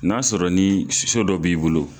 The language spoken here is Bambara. N'a sɔrɔ ni so dɔ b'i bolo